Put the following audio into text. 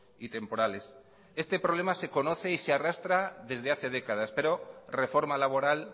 y temporales este problema se conoce y se arrastra desde hace décadas pero reforma laboral